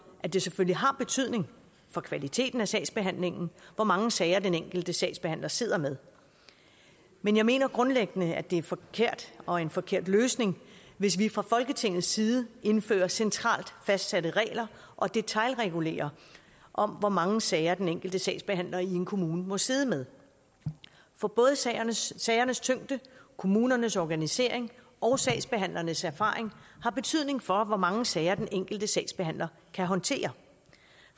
at det selvfølgelig har betydning for kvaliteten af sagsbehandlingen hvor mange sager den enkelte sagsbehandler sidder med men jeg mener grundlæggende det er forkert og en forkert løsning hvis vi fra folketingets side indfører centralt fastsatte regler og detailregulerer om hvor mange sager den enkelte sagsbehandler i en kommune må sidde med for både sagernes sagernes tyngde kommunernes organisering og sagsbehandlernes erfaring har betydning for hvor mange sager den enkelte sagsbehandler kan håndtere